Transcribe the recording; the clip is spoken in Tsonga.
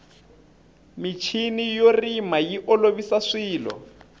michini yo rima yi olovisa swilo